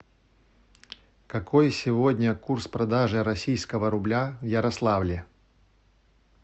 какой сегодня курс продажи российского рубля в ярославле